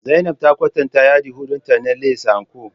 Zainab ta kwatanta yadi hudu na lace dinta And-Co